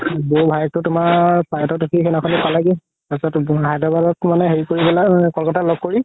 বৌ ভাইয়েকতো তুমাৰ flight ত উথি সিদিনাখনে পালেগে তাৰ পিছত হায়দৰাবাদত মানে হেৰি কৰি পেলাই ক'লকাতাত ল'গ কৰি